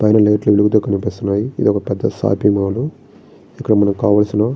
పైన లైట్ లు వెలుగుతూ కనిపిస్తున్నాయి. ఇది ఒక పెద్ద షాపింగ్ మాల్ ఇక్కడ మనకు కావలసిన--